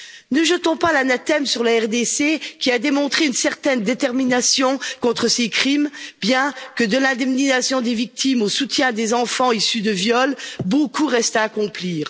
Ne jetons pas l'anathème sur la République démocratique du Congo, qui a démontré une certaine détermination contre ces crimes, bien que, de l'indemnisation des victimes au soutien à des enfants issus de viols, beaucoup reste à accomplir.